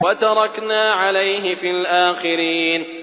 وَتَرَكْنَا عَلَيْهِ فِي الْآخِرِينَ